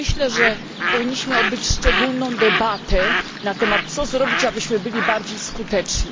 Myślę, że powinniśmy odbyć szczególną debatę na temat, co zrobić abyśmy byli bardziej skuteczni.